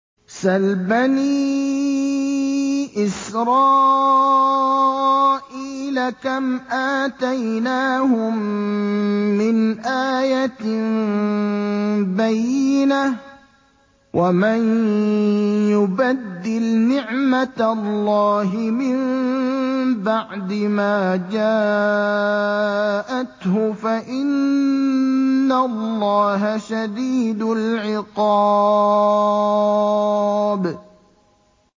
سَلْ بَنِي إِسْرَائِيلَ كَمْ آتَيْنَاهُم مِّنْ آيَةٍ بَيِّنَةٍ ۗ وَمَن يُبَدِّلْ نِعْمَةَ اللَّهِ مِن بَعْدِ مَا جَاءَتْهُ فَإِنَّ اللَّهَ شَدِيدُ الْعِقَابِ